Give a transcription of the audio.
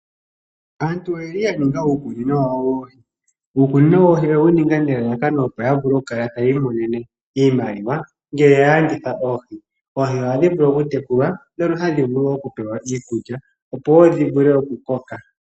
Aantu oyeli ya ninga uukunino wawo woohi, uukunino woohi oyewu ninga nelalakano opo ya vule oku kala tayi i monena iimaliwa ngele ya landitha oohi. Oohi ohadhi oku tekulwa mona hadhi vulu wo oku pewa iikulya opo wo dhi vule oku koka.